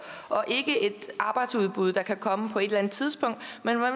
og ikke om et arbejdsudbud der kan komme på et eller andet tidspunkt